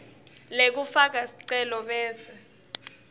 lekufaka sicelo bese